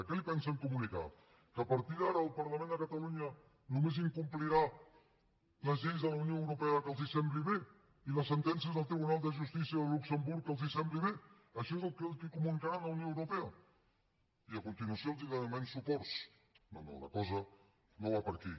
què li pensen comunicar que a partir d’ara el parlament de catalunya només complirà les lleis de la unió europea que els sembli bé i les sentències del tribunal de justícia de luxemburg que els sembli bé això és el que comunicaran a la unió europea i a continuació els demanarem suports no no la cosa no va per aquí